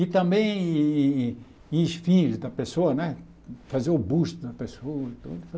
E também em em em em esfinge da pessoa né, fazer o busto da pessoa.